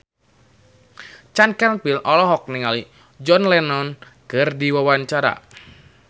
Chand Kelvin olohok ningali John Lennon keur diwawancara